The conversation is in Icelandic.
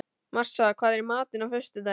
Marsa, hvað er í matinn á föstudaginn?